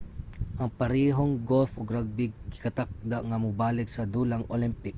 ang parehong golf ug rugby gikatakda nga mobalik sa dulang olympic